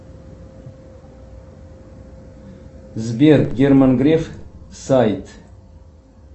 сбер герман греф сайт